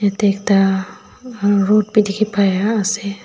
yate ekta rud bhi dekhi pai ase.